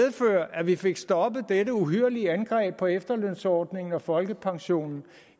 at vi fik stoppet dette uhyrlige angreb på efterlønsordningen og folkepensionen